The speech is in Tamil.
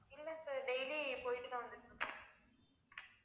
இல்ல sir daily போய்ட்டுதான் வந்துட்டுருக்கேன்